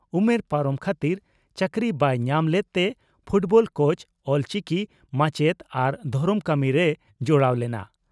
ᱩᱢᱮᱨ ᱯᱟᱨᱚᱢ ᱠᱷᱟᱛᱤᱨ ᱪᱟᱠᱨᱤ ᱵᱟᱭ ᱧᱟᱢ ᱞᱮᱫᱛᱮ ᱯᱷᱩᱴᱵᱚᱞ ᱠᱳᱪ, ᱚᱞᱪᱤᱠᱤ ᱢᱟᱪᱮᱛ ᱟᱨ ᱫᱷᱚᱨᱚᱢ ᱠᱟᱹᱢᱤ ᱨᱮᱭ ᱡᱚᱲᱟᱣ ᱞᱮᱱᱟ ᱾